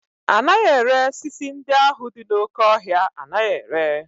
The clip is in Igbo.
Anaghị ere sisi ndị ahụ dị n'oké ọhịa anaghị ere